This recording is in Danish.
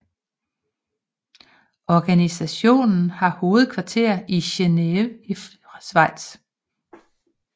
Organisationen har hovedkvarter i Geneve i Schweiz